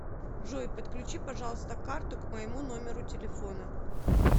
джой подключи пожалуйста карту к моему номеру телефона